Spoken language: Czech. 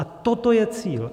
A toto je cíl.